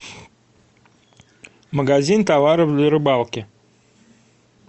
магазин товаров для рыбалки